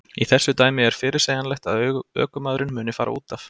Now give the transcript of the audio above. Í þessu dæmi er fyrirsegjanlegt að ökumaðurinn muni fara útaf.